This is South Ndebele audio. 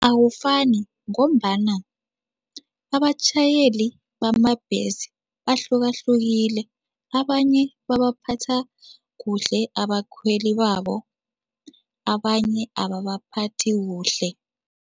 Awufani ngombana abatjhayeli bamabhesi bahlukahlukile. Abanye babaphatha kuhle abakhweli babo, abanye ababaphathi kuhle.